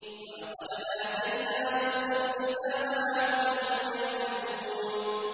وَلَقَدْ آتَيْنَا مُوسَى الْكِتَابَ لَعَلَّهُمْ يَهْتَدُونَ